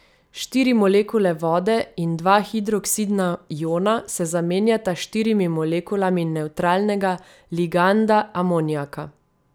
Štiri molekule vode in dva hidroksidna iona se zamenjata s štirimi molekulami nevtralnega liganda amonijaka.